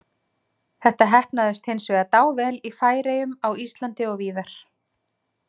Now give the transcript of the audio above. Þetta heppnaðist hins vegar dável í Færeyjum, á Íslandi og víðar.